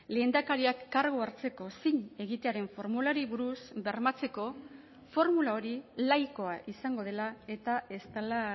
lehendakariak kargua hartzeko zin egitearen formulari buruz bermatzeko formula hori laikoa izango dela eta ez dela